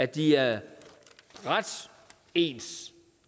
de er ret ens